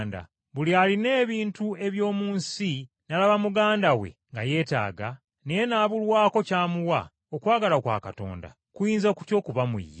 Buli alina ebintu eby’omu nsi n’alaba muganda we nga yeetaaga, naye n’abulwako ky’amuwa, okwagala kwa Katonda, kuyinza kutya okuba mu ye?